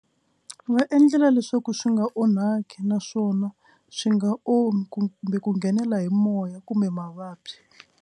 Va endlela leswaku swi nga onhaki naswona swi nga omi ku kumbe ku nghenela hi moya kumbe mavabyi.